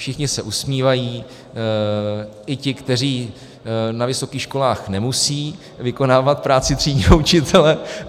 Všichni se usmívají, i ti, kteří na vysokých školách nemusejí vykonávat práci třídního učitele.